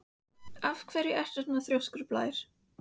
Af hverju ertu svona þrjóskur, Blær?